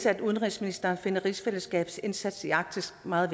at udenrigsministeren finder rigsfællesskabsindsatsen i arktis meget